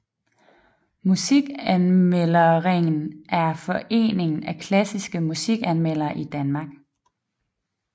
Musikanmelderringen er foreningen af klassiske musikanmeldere i Danmark